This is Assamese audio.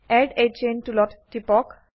এড a চেইন টুলত টিপক